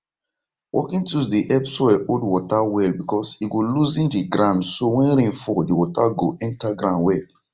working tools dey help soil hold water well because e go loosen the ground so when rain fall the water go enter ground well